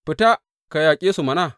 Fita, ka yaƙe su mana!